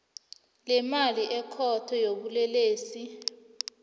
lemali ikhotho yobulelesi